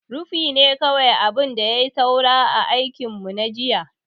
Rufi ne kawai abin da ya yi saura a aikin mu na jiya.